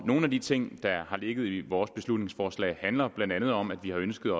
nogle af de ting der har ligget i vores beslutningsforslag handler blandt andet om at vi har ønsket